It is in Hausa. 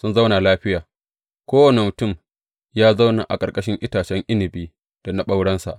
sun zauna lafiya, kowane mutum ya zauna a ƙarƙashin itacen inabi da na ɓaurensa.